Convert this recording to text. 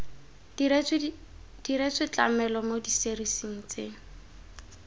diretswe tlamelo mo diserising tse